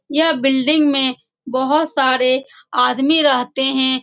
यह बिल्डिंग में बहुत सारे आदमी रहते हैं।